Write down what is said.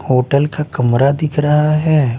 Hotel का कमरा दिख रहा हैं ।